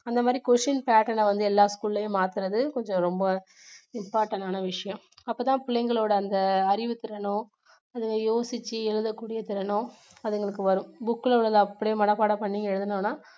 அந்த மாதிரி question patten அ வந்து எல்லா school லையும் மாத்துவது கொஞ்சம் ரொம்ப important னான விஷயம் அப்போ தான் பிள்ளைங்களோட அந்த அறிவு திறனோ அதுங்க யோசிச்சு எழுதக்கூடிய திறனோ அதுங்களுக்கு வரும் book ல உள்ளதை அப்படியே மனப்பாடம் பண்ணி எழுதுனோம்னா